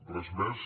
res més